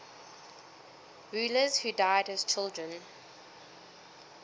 rulers who died as children